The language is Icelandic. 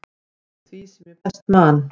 eftir því sem ég best man.